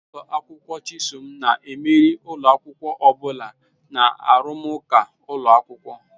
Ụlọ akwụkwọ Chisom na-emeri ụlọ akwụkwọ ọ bụla na arụmụka ụlọ akwụkwọ.